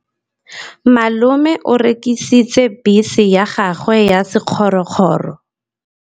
Malome o rekisitse bese ya gagwe ya sekgorokgoro.